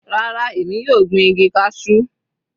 Rárá, èmi yóò gbin igi cashew.